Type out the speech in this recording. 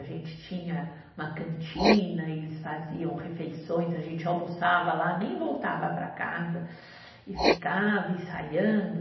A gente tinha uma cantina, eles faziam refeições, a gente almoçava lá, nem voltava para casa e ficava ensaiando.